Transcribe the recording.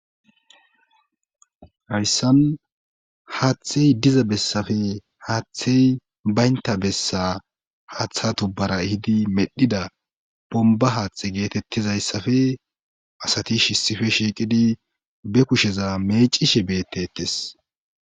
Hayssan haaththey diza bessappe haaththey baynta bessa haaththa tubbara ehidi medhdhida bombba haaththe geetettizayssappe asati issippe shiiqidi be kusheza meciishshe bettetees